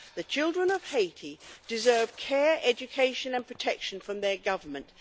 The children of Haiti deserve care, education and protection from their Government.